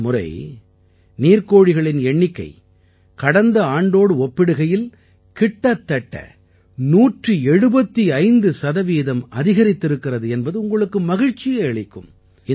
இந்த முறை நீர்க் கோழிகளின் எண்ணிக்கை கடந்த ஆண்டோடு ஒப்பிடுகையில் கிட்டத்தட்ட 175 சதவீதம் அதிகரித்திருக்கிறது என்பது உங்களுக்கு மகிழ்ச்சியை அளிக்கும்